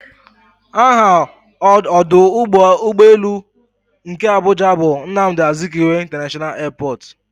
Aha ọdụ ụgbọelu nke Abuja bu "Nnamdi Azikiwe International airport"